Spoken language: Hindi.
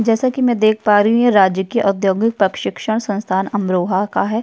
जैसा कि मैं देख पा रही हूँ य राजकीय औद्योगिक पक्शिक्षण संस्थान अमरोहा का है।